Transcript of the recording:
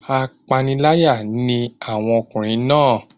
Apániláyà ni àwọn ọkùnrin náà.